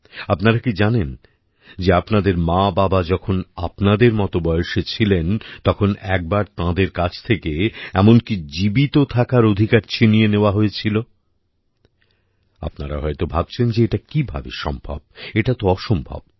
আপনারা কি জানেন যে আপনাদের মাবাবা যখন আপনাদের মত বয়সে ছিলেন তখন একবার তাঁদের কাছ থেকে এমনকি জীবিত থাকার অধিকার ছিনিয়ে নেওয়া হয়েছিল আপনারা হয়ত ভাবছেন যে এটা কীভাবে সম্ভব এটা তো অসম্ভব